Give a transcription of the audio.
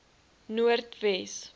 noordwes